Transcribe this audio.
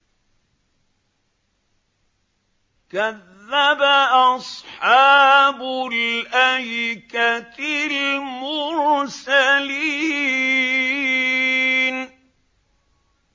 كَذَّبَ أَصْحَابُ الْأَيْكَةِ الْمُرْسَلِينَ